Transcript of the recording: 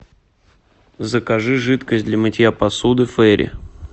закажи жидкость для мытья посуды фейри